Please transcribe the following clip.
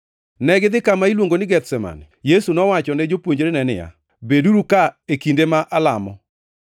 Negidhi kama iluongo ni Gethsemane. Yesu nowacho ne jopuonjrene niya, “Beduru ka e kinde ma alamo.”